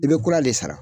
I bɛ kura de sara